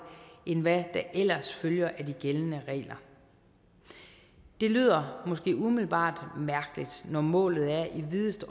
end hvad der ellers følger af de gældende regler det lyder måske umiddelbart mærkeligt når målet er i videst